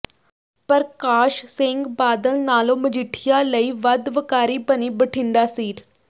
ਪ੍ਰਕਾਸ਼ ਸਿੰਘ ਬਾਦਲ ਨਾਲੋਂ ਮਜੀਠੀਆ ਲਈ ਵੱਧ ਵਕਾਰੀ ਬਣੀ ਬਠਿੰਡਾ ਸੀਟ